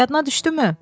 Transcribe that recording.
Yadına düşdümü?